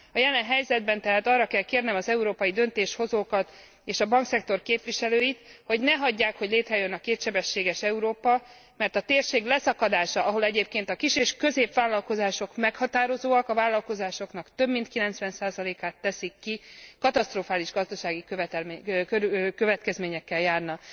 A jelen helyzetben tehát arra kell kérnem az európai döntéshozókat és a bankszektor képviselőit, hogy ne hagyják, hogy létrejöjjön a kétsebességes Európa, mert a térség leszakadása, ahol egyébként a kis és középvállalkozások meghatározóak a vállalkozásoknak több mint 90 át teszik ki katasztrofális gazdasági következményekkel járna.